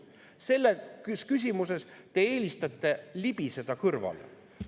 Sellest küsimusest te eelistate libiseda kõrvale.